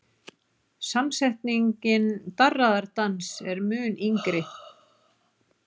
Samsetningin darraðardans er mun yngri.